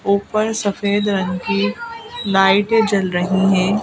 ऊपर सफेद रंग की लाइट जल रही हैं।